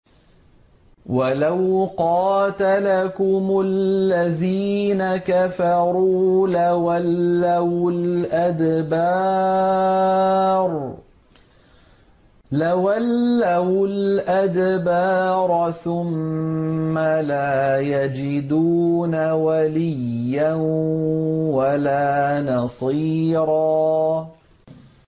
وَلَوْ قَاتَلَكُمُ الَّذِينَ كَفَرُوا لَوَلَّوُا الْأَدْبَارَ ثُمَّ لَا يَجِدُونَ وَلِيًّا وَلَا نَصِيرًا